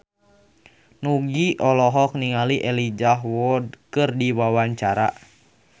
Nugie olohok ningali Elijah Wood keur diwawancara